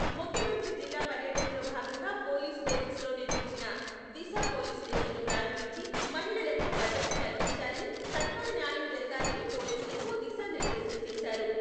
ముఖ్యమంత్రి జిల్లా పర్యటనలో భాగంగా పోలీస్ బేరక్స్ లో నిర్మించిన దిశ పోలీస్ స్టేషన్ను ప్రారంభించి, మహిళలకు భదత్ర కల్పించాలని, సత్వర న్యాయం జరగాలని పోలీసులకు దిశానిర్దేశం చేశారు.